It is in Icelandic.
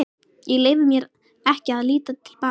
Ég leyfi mér ekki að líta til baka.